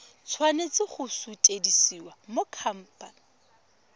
tshwanela go sutisediwa go khamphane